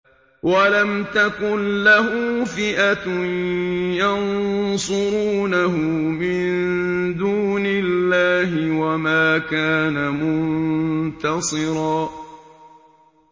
وَلَمْ تَكُن لَّهُ فِئَةٌ يَنصُرُونَهُ مِن دُونِ اللَّهِ وَمَا كَانَ مُنتَصِرًا